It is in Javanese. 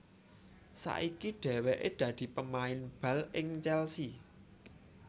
Saiki dhèwèké dadi pemain bal ing Chelsea